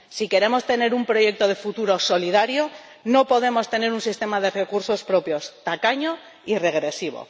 Si queremos tener un proyecto de futuro solidario, no podemos tener un sistema de recursos propios tacaño y regresivo.